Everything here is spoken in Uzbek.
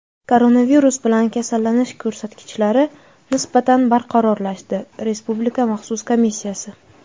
Koronavirus bilan kasallanish ko‘rsatkichlari nisbatan barqarorlashdi — Respublika maxsus komissiyasi.